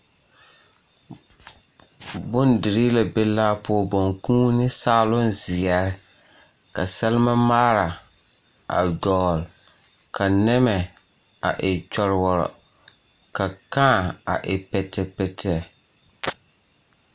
Bondirii la be laa poɔ boŋkuu ne saaloŋ zeɛre ka salmaamaara a dɔgle ka nɛmɛ a e kyɔlwɔrɔ ka ka kaa a e pɛtɛpɛtɛ.